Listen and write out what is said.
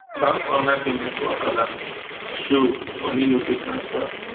bank online payment wahala show money no fit transfer